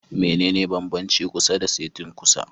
Mene ne banbanci kusa da setin kusa?